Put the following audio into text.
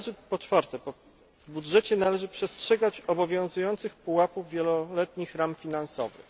Po czwarte, w budżecie należy przestrzegać obowiązujących pułapów wieloletnich ram finansowych.